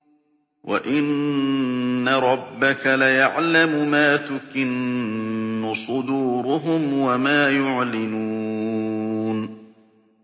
وَإِنَّ رَبَّكَ لَيَعْلَمُ مَا تُكِنُّ صُدُورُهُمْ وَمَا يُعْلِنُونَ